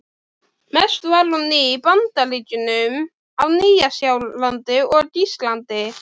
Mest var hún í Bandaríkjunum, á Nýja-Sjálandi og Íslandi.